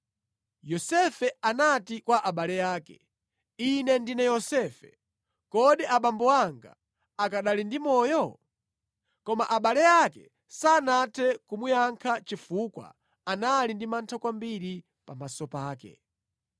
Yosefe anati kwa abale ake, “Ine ndine Yosefe! Kodi abambo anga akanali ndi moyo?” Koma abale ake sanathe kumuyankha chifukwa anali ndi mantha kwambiri pamaso pake.